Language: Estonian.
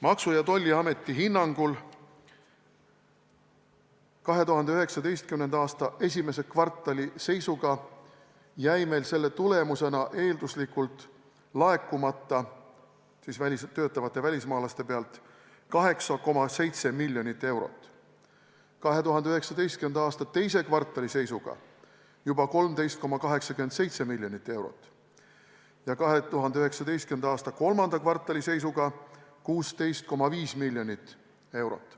Maksu- ja Tolliameti hinnangul 2019. aasta esimese kvartali seisuga jäi meil selle tagajärjel eelduslikult laekumata – siis töötavate välismaalaste pealt – 8,7 miljonit eurot, 2019. aasta teise kvartali seisuga juba 13,87 miljonit eurot ja 2019. aasta kolmanda kvartali seisuga 16,5 miljonit eurot.